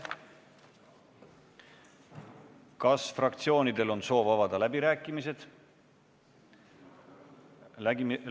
Kas fraktsioonidel on soov avada läbirääkimised?